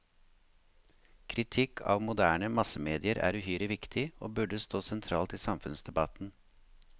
Kritikk av moderne massemedier er uhyre viktig, og burde stå sentralt i samfunnsdebatten.